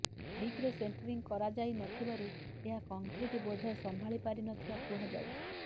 ଠିକ୍ରେ ସେଣ୍ଟ୍ରିଂ କରାଯାଇ ନ ଥିବାରୁ ଏହା କଂକ୍ରିଟ୍ ବୋଝ ସମ୍ଭାଳି ପାରି ନଥିବା କୁହାଯାଉଛି